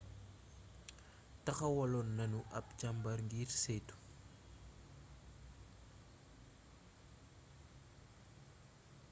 taxawaloon nanu ab càmbar ngir ceytu